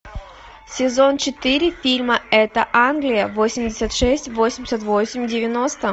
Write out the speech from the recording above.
сезон четыре фильма это англия восемьдесят шесть восемьдесят восемь девяносто